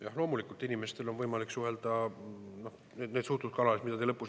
Jah, loomulikult, inimestel on võimalik suhelda nendes suhtluskanalites, mida te nimetasite.